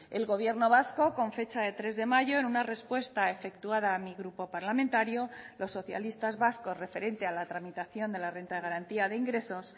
el gobierno vasco con fecha de tres de mayo en una respuesta efectuada a mi grupo parlamentario los socialistas vascos referente a la tramitación de la renta de garantía de ingresos